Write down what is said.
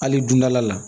Hali dundala la